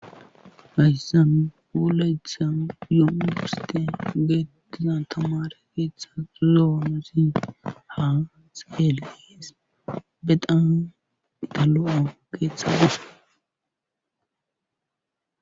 Hayssan wolaytan yunburssen beetiza tamare keeththan lo'o hanotan iskele dees.bexam lo'o keeththay dees.